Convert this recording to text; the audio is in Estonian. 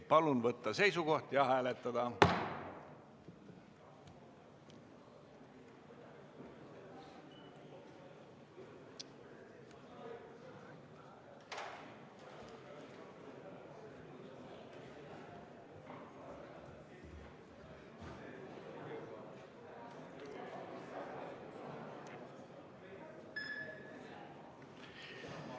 Palun võtta seisukoht ja hääletada!